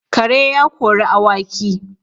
Kare ya kori awaki